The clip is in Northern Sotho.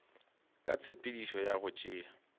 ka tshepedišo ya go tšea